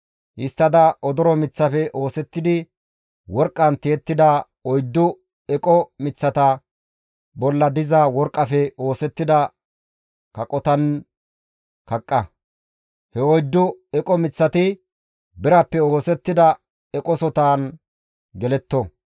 Histtada odoro miththafe oosettidi worqqan tiyettida oyddu eqo miththata bolla diza worqqafe oosettida kaqotan kaqqa. He oyddu eqo miththati birappe oosettida eqosotan geletto.